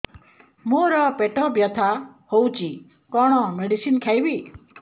ମୋର ପେଟ ବ୍ୟଥା ହଉଚି କଣ ମେଡିସିନ ଖାଇବି